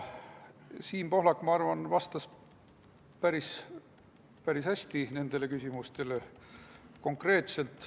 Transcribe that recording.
Siim Pohlak, ma arvan, vastas nendele küsimustele päris hästi, konkreetselt.